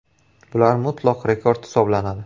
Bular mutlaq rekord hisoblanadi.